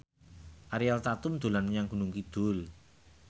Ariel Tatum dolan menyang Gunung Kidul